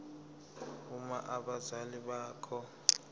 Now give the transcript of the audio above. uma abazali bakho